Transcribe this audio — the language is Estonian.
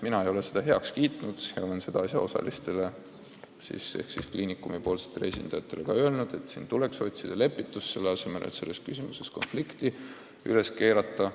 Mina ei ole seda heaks kiitnud ja olen asjaosalistele ehk siis kliinikumi esindajatele öelnud, et tuleks otsida lepitust, selle asemel et konflikti üles keerata.